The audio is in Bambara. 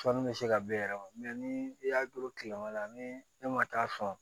Sɔnni bɛ se ka ben yɛrɛ ma ni i y'a don kilema la ni e ma taa sɔn